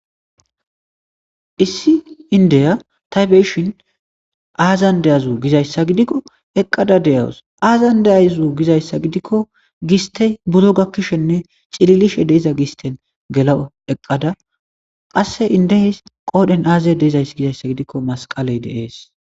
Issi indeya taybeshin aazan deyazu gizayssa gidikko eqqada deyawus aazan deayzu gizayssa gidikko gistey buro gakkishenne cililishe deyiza gisten gela eqqada qasse indee qoodhen aaze deizays gizayssa gidikko masqaley deees.